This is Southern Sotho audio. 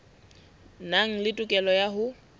nang le tokelo ya ho